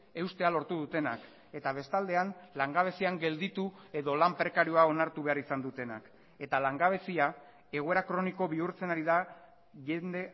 eustea lortu dutenak eta bestaldean langabezian gelditu edo lan prekarioa onartu behar izan dutenak eta langabezia egoera kroniko bihurtzen ari da jende